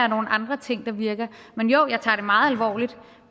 nogle andre ting der virker men jo jeg tager det meget alvorligt